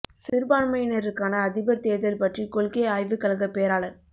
சிறுபான்மையினருக்கான அதிபர் தேர்தல் பற்றி கொள்கை ஆய்வுக் கழகப் பேராளர்